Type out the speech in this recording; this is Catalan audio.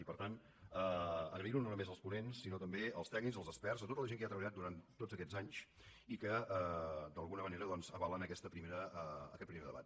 i per tant agrair ho no només als ponents sinó també als tècnics als experts a tota la gent que hi ha treballat durant tots aquests anys i que d’alguna manera doncs avalen aquest primer debat